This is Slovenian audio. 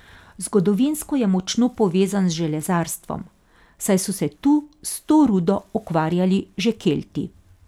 Zgodovinsko je močno povezan z železarstvom, saj so se tu s to rudo ukvarjali že Kelti.